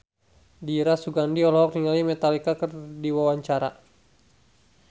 Dira Sugandi olohok ningali Metallica keur diwawancara